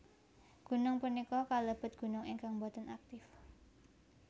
Gunung punika kalebet gunung ingkang boten aktif